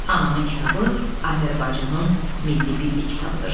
Anamın kitabı Azərbaycanın milli birlik kitabıdır.